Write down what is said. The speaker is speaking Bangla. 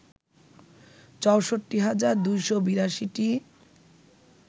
৬৪ হাজার ২৮২টি